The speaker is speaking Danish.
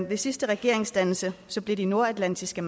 ved sidste regeringsdannelse blev de nordatlantiske